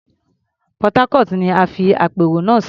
Port Harcourt ni a fi àpérò náà sí.